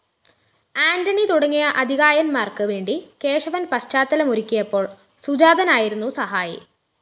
ആന്റണി തുടങ്ങിയ അതികായന്മാര്‍ക്കുവേണ്ടി കേശവന്‍ പശ്ചാത്തലമൊരുക്കിയപ്പോള്‍ സുജാതനായിരുന്നു സഹായി